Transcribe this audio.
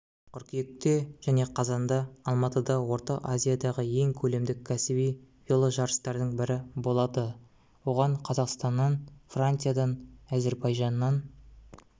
қыркүйекте және қазанда алматыда орта азиядағы ең көлемді кәсіби веложарыстардың бірі болады оған қазақстаннан франциядан әзірбайжаннан